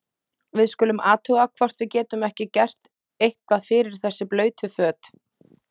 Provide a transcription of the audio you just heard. Við skulum athuga hvort við getum ekki gert eitthvað fyrir þessi blautu föt.